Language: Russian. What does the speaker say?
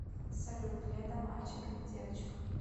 салют леда мальчик или девочка